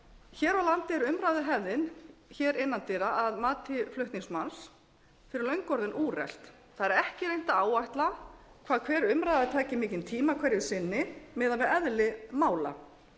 hér á landi er umræðuhefðin hér innan dyra að mati flutningsmanns fyrir löngu orðin úrelt það er ekki reynt að áætla hvað hver umræða taki mikinn tíma hverju sinni miðað við eðli mála